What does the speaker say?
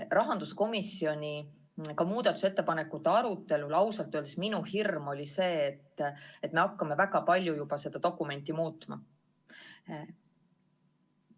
Rahanduskomisjoni muudatusettepanekute arutelul oli ausalt öeldes minu hirm see, et me hakkame väga palju seda dokumenti muutma.